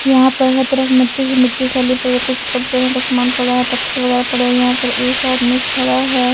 यहां पर हर तरफ मिट्टी ही मिट्टी फैली कुछ छोटा यहां पर सामान पड़ा है पत्थर वगैरह पड़े है यहां पर एक आदमी खड़ा है.